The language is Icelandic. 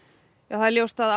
það er augljóst að